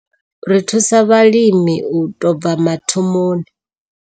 Ri thusa vhalimi u tou bva mathomoni.